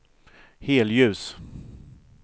helljus